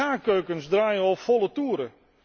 Gaarkeukens draaien op volle toeren.